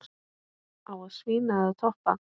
Á að svína eða toppa?